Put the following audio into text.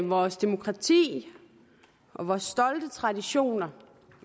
vores demokrati og vores stolte traditioner